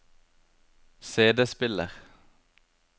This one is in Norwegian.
CD-spiller